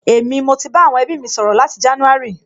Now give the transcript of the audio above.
Èmi, mo ti bá àwọn ẹbí mi sọ̀rọ̀ láti jánúárì